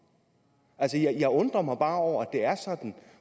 jeg undrer mig bare over at det er sådan